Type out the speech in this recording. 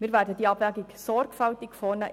Wir werden die Abwägung sorgfältig vornehmen.